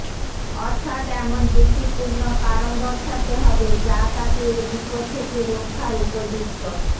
অথাৎ এমন যুক্তিপূর্ণ কারণ দর্শাতে হবে যা তাকে এ বিপদ থেকে রক্ষার উপযুক্ত